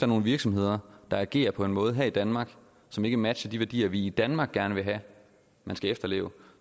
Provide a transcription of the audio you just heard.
nogle virksomheder der agerer på en måde her i danmark som ikke matcher de værdier vi i danmark gerne vil have man skal efterleve